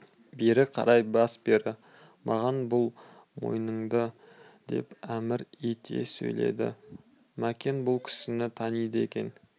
бері қарай бас бері маған бұр мойныңды деп әмір ете сөйледі мәкен бұл кісіні таниды екен